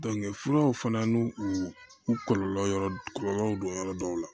furaw fana n'u u kɔlɔlɔw don yɔrɔ dɔw la